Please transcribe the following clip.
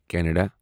Canada